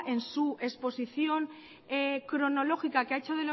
en su exposición cronológica que ha hecho